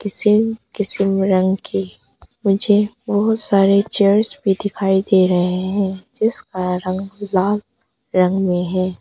किसीम किसीम रंग के मुझे बहोत सारे चेयर्स भी दिखाई दे रहे हैं जिसका रंग लाल रंग में है।